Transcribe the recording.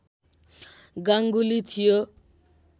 गाङ्गुली थियो